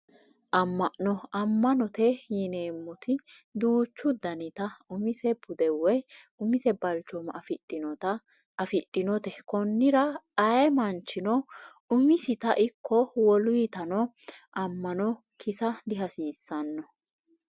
Amma'no amma'note yineemmoti duuchu daniti umise bude woyi umise balchooma afidhinote konnira ayee manchino umisitano ikko woluytano amma'no kisa dihasiissanno